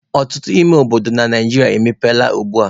Ọtụtụ ime obodo na Naijiria emepeela ugbua.